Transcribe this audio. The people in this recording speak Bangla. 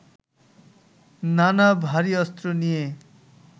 নানা ভারী অস্ত্র নিয়ে